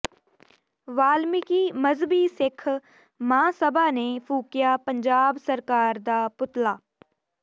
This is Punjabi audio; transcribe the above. ਵਾਲਮੀਕਿ ਮਜ਼੍ਹਬੀ ਸਿੱਖ ਮਹਾਂਸਭਾ ਨੇ ਫੂਕਿਆ ਪੰਜਾਬ ਸਰਕਾਰ ਦਾ ਪੁਤਲਾ